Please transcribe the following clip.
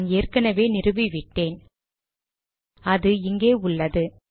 நான் ஏற்கனவே நிறுவி விட்டேன் அது இங்கே உள்ளது